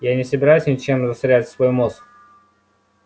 я не собираюсь ничем засорять свой мозг